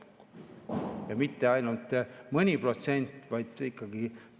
Ja mitte ainult mõni protsent, vaid ikkagi.